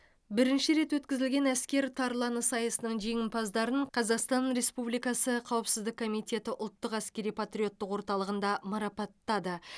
бірінші рет өткізілген әскер тарланы сайысының жеңімпаздарын қазақстан республикасы қауіпсіздік комитеті ұлттық әскери патриоттық орталығында марапаттады